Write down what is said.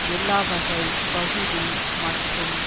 எல்லாவகை பகுதி மற்றும்